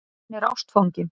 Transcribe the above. Hann er ástfanginn.